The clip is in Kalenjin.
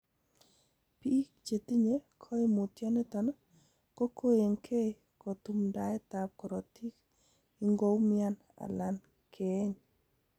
Biik chetinye koimutioniton kokoenkei tumtaendab korotik ingoumian alan keeny.